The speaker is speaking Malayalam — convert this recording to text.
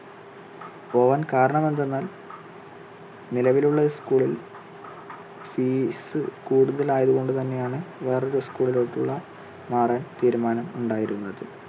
പോകാൻ കാരണം എന്തെന്നാൽ നിലവിലുള്ള school ിൽ fees കൂടുതൽ ആയത് കൊണ്ട് തന്നെ ആണ് വേറെ ഒരു school ിലോട്ട് ഉള്ള മാറാൻ തീരുമാനം ഉണ്ടായിരുന്നത്.